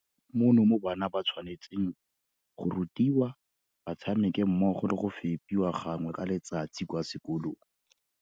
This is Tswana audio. Mono mo bana ba tshwane tseng go rutiwa, ba tshameke mmogo le go fepiwa gangwe ka letsatsi kwa sekolong.